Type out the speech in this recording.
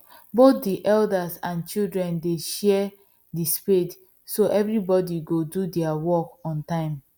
both the elders and children dey share the spade so everybody go do there work on time